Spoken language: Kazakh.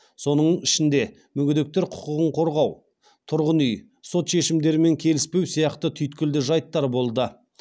соның ішінде мүгедектер құқығын қорғау тұрғын үй сот шешімдерімен келіспеу сияқты түйткілді жайттар болды